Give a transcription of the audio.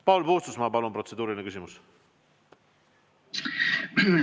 Paul Puustusmaa, palun, protseduuriline küsimus!